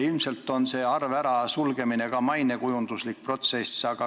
Ilmselt on see arve sulgemine ka mainekujunduslik samm.